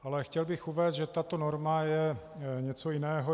Ale chtěl bych uvést, že tato norma je něco jiného.